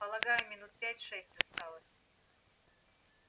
полагаю минут пять шесть осталось